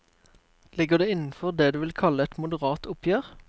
Ligger det innenfor det du vil kalle et moderat oppgjør?